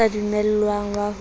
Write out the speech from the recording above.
o sa dumellwang wa ho